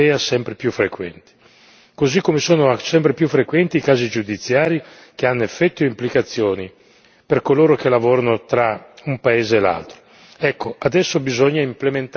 sono all'interno dell'Unione europea sempre più frequenti, così come sono sempre più frequenti casi giudiziari che hanno effetti e implicazioni per coloro che lavorano tra un paese e l'altro.